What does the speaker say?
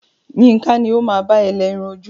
Yinka ni o máa bá ẹ lẹ irun ojú.